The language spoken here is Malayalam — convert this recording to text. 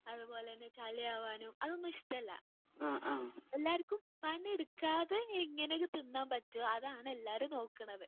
അതുപോലെതന്നെ ചളി ആവാനും അതൊന്നും ഇഷ്ടല്ല. എല്ലാർക്കും പണിയെടുക്കാതെ എങ്ങനെയൊക്കെ തിന്നാൻ പറ്റും അതാണ് എല്ലാവരും നോക്കുണത്.